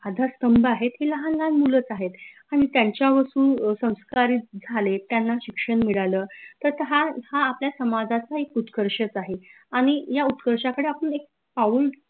आधार स्तंभ आहेत हे लाहान लाहान मुलंच आहेत आणि त्यांच्यावर संस्कार झाले त्यांना शिक्षन मिडाल तर हा हा आपल्या समाजाचा एक उत्कर्षच आहे आनि या उत्कर्षाकडे आपन एक पाऊल